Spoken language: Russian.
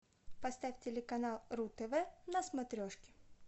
поставь телеканал ру тв на смотрешке